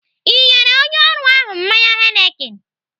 Ị nyere onye ọrụ ahụ mmanya Heineken?